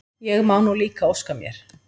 Ég má nú líka óska mér!